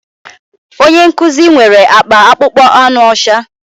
Onye nkuzi nwere akpa akpụkpọ anụ ọcha